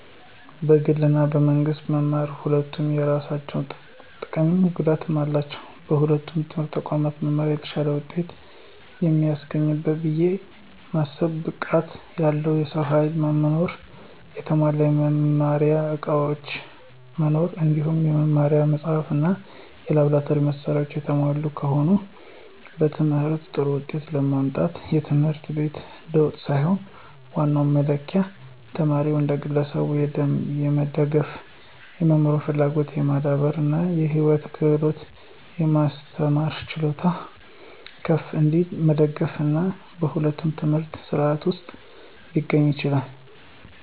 በግል እና በመንግስት መማር ሁለቱም የየራሳቸው ጥቀምም ጉዳትም አላቸው። በሁለቱም የትምህርት ተቋማት መማር የተሻለ ውጤት ከሚያስገኝበት ብየ ማስበው ብቃት ያለው የሰው ኃይል መኖር፣ የተሟላ የመማሪያ ዕቃዎች መኖር እንዲሁም የመማሪያ መጻሕፍት እና የላብራቶሪ መሳሪያዎች የተሟሉ ከሆነ። በትምህርት ጥሩ ውጤት ለማምጣት የትምህርት ቤት ለውጥ ሳይሆን ዋናው መለኪያ ተማሪውን እንደ ግለሰብ የመደገፍ፣ የመማር ፍላጎትን የማዳበር እና የህይወት ክህሎቶችን የማስተማር ችሎታው ከፍ እንዲል መደገፍ፤ ይህም በሁለቱም የትምህርት ሥርዓቶች ውስጥ ሊገኝ ይችላል።